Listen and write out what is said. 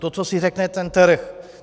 To, co si řekne ten trh.